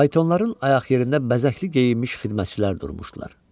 Faytonların ayaq yerində bəzəkli geyinmiş xidmətçilər durmuşdular.